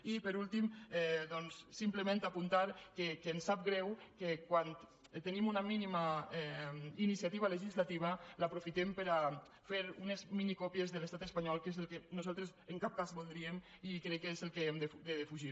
i per últim doncs simplement apuntar que em sap greu que quan tenim una mínima iniciativa legislativa l’aprofitem per a fer unes minicòpies de l’estat espanyol que és el que nosaltres en cap cas voldríem i que crec que és el que hem de defugir